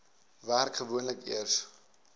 werk gewoonlik eers